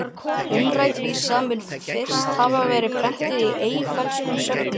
Umrædd vísa mun fyrst hafa verið prentuð í Eyfellskum sögnum